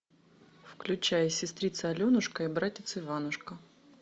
включай сестрица аленушка и братец иванушка